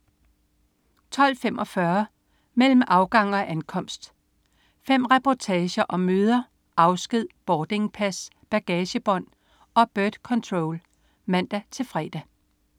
12.45 Mellem afgang og ankomst. Fem reportager om møder, afsked, boardingpass, bagagebånd og birdcontrol (man-fre)